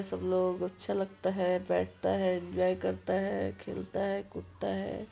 सब लोगों को अच्छा लगता है बैठता है एन्जॉय करता है खेलता है कूदता है।